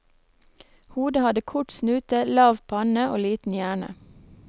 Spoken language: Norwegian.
Hodet hadde kort snute, lav panne og liten hjerne.